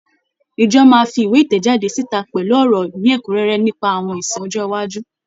Ìjọ máa fi ìwé ìtẹ̀jáde síta pẹ̀lú ọ̀rọ̀ ní ẹ́kúnrẹ́rẹ́ nípa àwọn ìsìn ọjọ́ iwájú.